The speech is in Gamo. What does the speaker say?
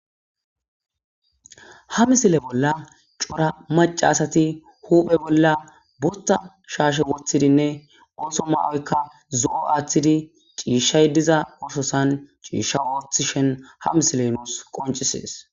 ha misile bolla cora maca asati huphe bolla burta shaashe woththidinne ooso maoykka zo7o aaththidi ciishshay diza oososan ciishsha woothi shen ha misile nuus qoncisees